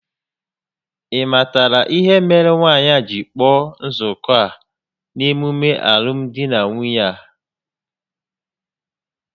Ị matara ihe mere nwaanyị a jiri kpọọ nzuko a n'emume alụmdi na nwunye a?